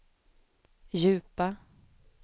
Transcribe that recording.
djupa